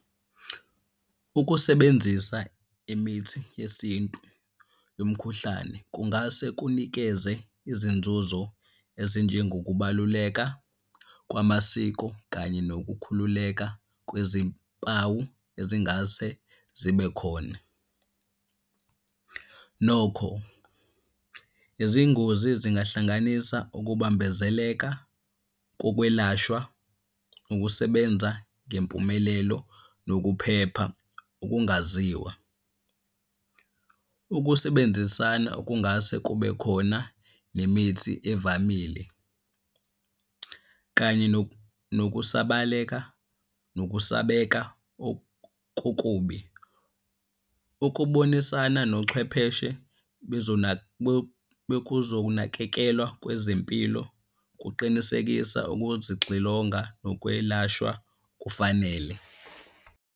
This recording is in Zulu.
Ukusebenzisa imithi yesintu yomkhuhlane kungase kunikeze izinzuzo ezinjengokubaluleka kwamasiko kanye nokukhululeka kwezimpawu ezingase zibe khona. Nokho izingozi zingahlanganisa ukubambezeleka kokwelashwa, ukusebenza ngempumelelo nokuphepha okungaziwa. Ukusebenzisana okungase kube khona nemithi evamile, kanye nokusabaleka nokusabeka . Ukubonisana nochwepheshe bokuzonakekelwa kwezempilo kuqinisekisa ukuzixilonga nokwelashwa kufanele.